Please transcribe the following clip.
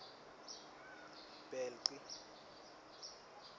bhelci